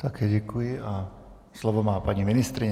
Také děkuji a slovo má paní ministryně.